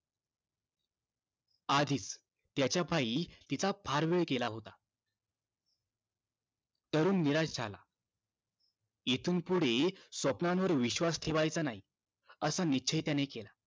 आधीच त्याच्या पायी तिचा फार वेळ गेला होता तरुण निराश झाला इथून पुढे स्वप्नावर विश्वास ठेव्हायचा नाही असा निश्चय त्याने केला